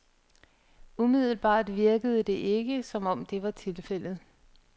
Umiddelbart virkede det ikke, som om det var tilfældet.